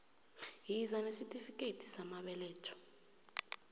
yiza nesitifikethi samabeletho